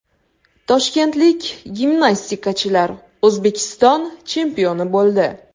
Toshkentlik gimnastikachilar O‘zbekiston chempioni bo‘ldi.